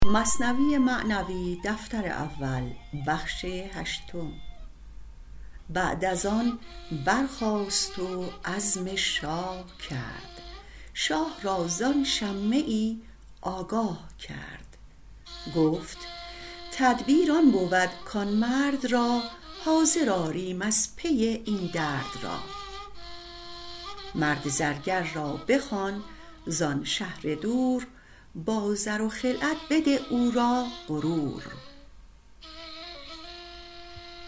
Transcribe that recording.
بعد از آن برخاست و عزم شاه کرد شاه را زان شمه ای آگاه کرد گفت تدبیر آن بود کان مرد را حاضر آریم از پی این درد را مرد زرگر را بخوان زان شهر دور با زر و خلعت بده او را غرور